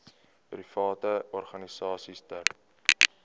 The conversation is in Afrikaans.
private organisasies ter